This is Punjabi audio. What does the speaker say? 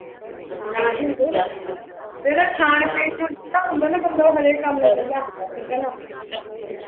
ਜਿਹੜਾ ਖਾਣ ਪੀਣ ਨੂੰ ਖੁਲਾ ਹੁੰਦਾ ਨਾ ਬੰਦਾ ਉਹ ਹਰੇਕ ਕੰਮ ਨੂੰ ਖੁਲਾ ਹੁੰਦਾ ਠੀਕੇ ਨਾ